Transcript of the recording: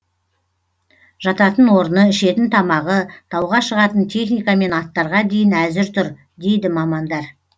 жататын орны ішетін тамағы тауға шығатын техника мен аттарға дейін әзір тұр дейді мамандар